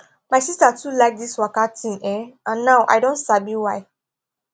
my sister too like this waka thing[um]and now i don sabi why